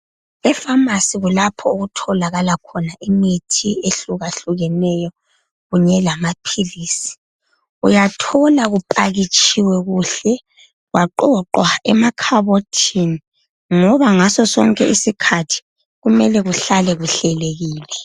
Efamasi kulapho okutholakala khona imithi ehlukahlukeneyo kunye lamaphilisi, uyathola kuphakitshiwe kuhle kwaqoqwa emakhabothini ngoba ngaso sonke isikhathi kumele kuhlale kuhlelekile.